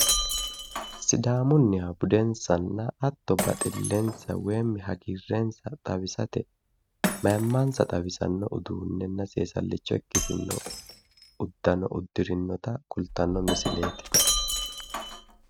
Sidaamunniha budensanna hatto baxillensa woyi hagiirrensa xawisate mayimmansa xawisanno uduunnenna seesallicha ikkitino uddano uddirinota kultanno misileeti.